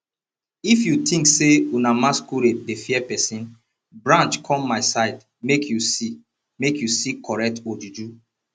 if you think say una masquerade dey fear person branch come my side make you see make you see correct ojuju